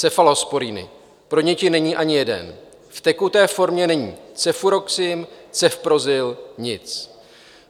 Cefalosporiny: pro děti není ani jeden, v tekuté formě není cefuroxim, cefprozil - nic.